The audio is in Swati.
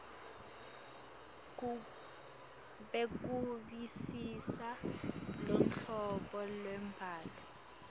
bekuvisisa luhlobo lwembhalo